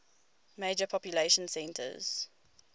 major population centers